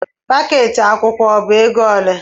Pakeeti akwụkwọ ọ bụ ego ole?